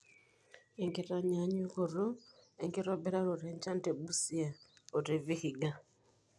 enkitanyaanyukotoo enkitobiraroto enchan teBusia o te Vihiga